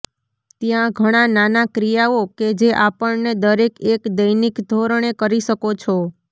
ત્યાં ઘણા નાના ક્રિયાઓ કે જે આપણને દરેક એક દૈનિક ધોરણે કરી શકો છો